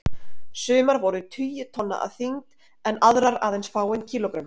Sumar voru tugi tonna að þyngd en aðrar aðeins fáein kílógrömm.